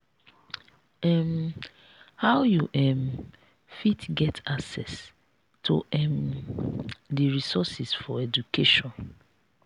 um how you um fit get access to um di resources for education?